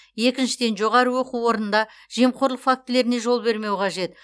екіншіден жоғары оқу орнында жемқорлық фактілеріне жол бермеу қажет